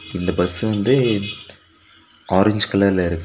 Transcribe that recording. இந்த பஸ் வந்து ஆரஞ்ச் கலர்ல இருக்கு.